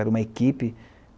Era uma equipe.